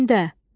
Kündə.